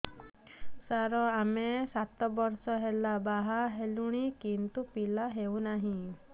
ସାର ଆମେ ସାତ ବର୍ଷ ହେଲା ବାହା ହେଲୁଣି କିନ୍ତୁ ପିଲା ହେଉନାହିଁ